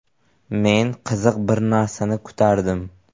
Men qiziq bir narsani kutardim.